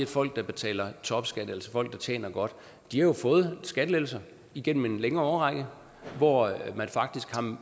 folk der betaler topskat altså folk der tjener godt har fået skattelettelser igennem en længere årrække hvor man faktisk